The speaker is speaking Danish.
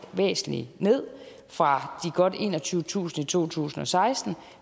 væsentlig ned fra de godt enogtyvetusind i to tusind og seksten